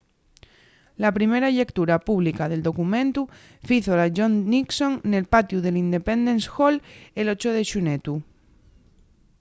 la primera llectura pública del documentu fízola john nixon nel patiu del independence hall el 8 de xunetu